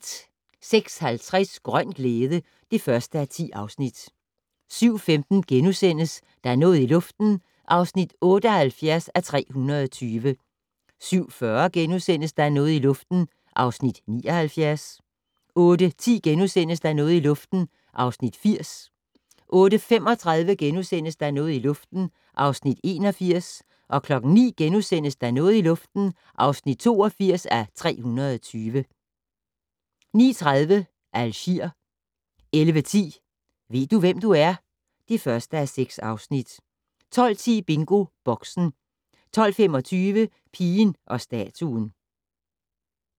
06:50: Grøn glæde (1:10) 07:15: Der er noget i luften (78:320)* 07:40: Der er noget i luften (79:320)* 08:10: Der er noget i luften (80:320)* 08:35: Der er noget i luften (81:320)* 09:00: Der er noget i luften (82:320)* 09:30: Algier 11:10: Ved du, hvem du er? (1:6) 12:10: BingoBoxen 12:25: Pigen og statuen